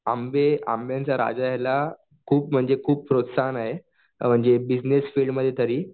आंबे आंब्यांच्या राजाला खूप म्हणजे खूप प्रोत्साहन आहे. अ म्हणजे बिजनेस फिल्डमध्ये तरी